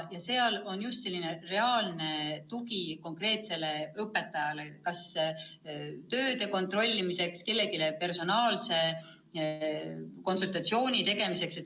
See on selline reaalne tugi konkreetsele õpetajale kas tööde kontrollimiseks või kellelegi personaalse konsultatsiooni andmiseks.